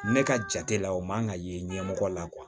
Ne ka jate la o man kan ka ye ɲɛmɔgɔ la